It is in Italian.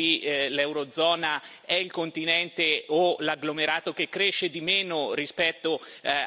Oggi l'Eurozona è il continente o l'agglomerato che cresce di meno rispetto